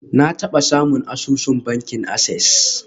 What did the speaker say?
Na taba samun asusun bankin access.